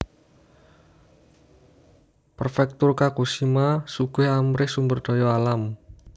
Prefektur Kagoshima sugih amrih sumber daya alam